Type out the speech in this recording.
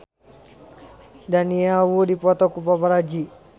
Daniel Wu dipoto ku paparazi